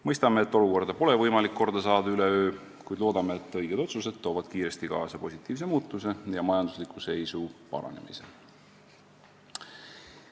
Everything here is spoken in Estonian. Mõistame, et olukorda pole võimalik korda saada üleöö, kuid loodame, et õiged otsused toovad kiiresti kaasa positiivse muutuse ja majandusliku seisu paranemise.